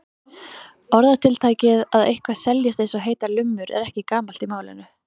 Orðatiltækið að eitthvað seljist eins og heitar lummur er ekki gamalt í málinu.